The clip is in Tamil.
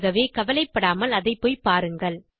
ஆகவே கவலைப்படாமல் அதை போய் பாருங்கள்